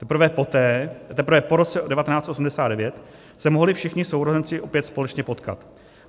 Teprve po roce 1989 se mohli všichni sourozenci opět společně potkat.